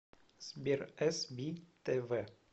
сбер эс би тэ вэ